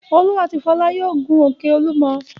Olú àti Fọlá yóò gun òkè Olúmọ.